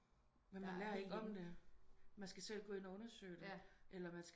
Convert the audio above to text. Men man lærer ikke om det man skal selv gå ind og undersøge det eller man